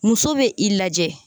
Muso bɛ i lajɛ